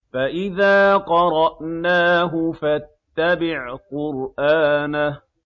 فَإِذَا قَرَأْنَاهُ فَاتَّبِعْ قُرْآنَهُ